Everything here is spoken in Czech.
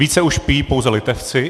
Více už pijí pouze Litevci.